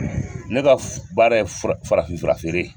Ne ka baara ye farafin fura feere ye.